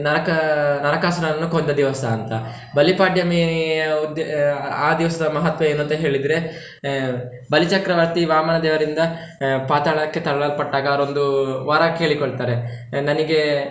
ನರಕ~ ನರಕಾಸುರನನ್ನು ಕೊಂದ ದಿವಸ ಅಂತ, ಬಲಿಪಾಡ್ಯಮಿ ಆ ಉದ್ದೇ~ ಆ ದಿವಸದ ಮಹತ್ವ ಏನಂತ ಹೇಳಿದ್ರೆ ಆಹ್ ಬಲಿಚಕ್ರವರ್ತಿ ವಾಮನ ದೇವರಿಂದ ಪಾತಾಳಕ್ಕೆ ತಳ್ಳಲ್ಪಟ್ಟಾಗ ಆಗ ಅವರೊಂದು ವರ ಕೇಳಿಕೊಳ್ತಾರೆ ನನಿಗೆ.